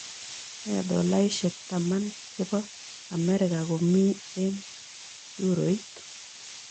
Nee tolaisiek taman che po amerika komi eng' euroit